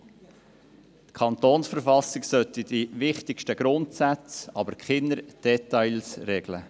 Die Kantonsverfassung sollte die wichtigsten Grundsätze, aber keine Details regeln.